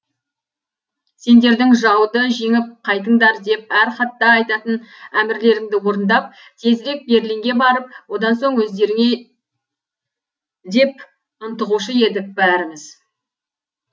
сендердің жауды жеңіп қайтыңдар деп әр хатта айтатын әмірлеріңді орындап тезірек берлинге барып одан соң өздеріңе деп ынтығушы едік бәріміз